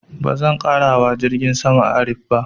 Ba zan ƙara hawa jirgin saman Arik ba